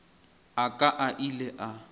a ka a ile a